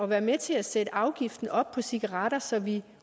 være med til at sætte afgiften op på cigaretter så vi